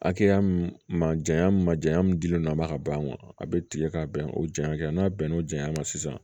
Hakɛya mun janya ma janya min dilen don a ma ka ban a bɛ tigɛ ka bɛn o janya kan n'a bɛnna o janya ma sisan